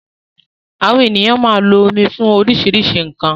Àwọn ènìyàn máa lo omi fún oríṣiríṣi nkan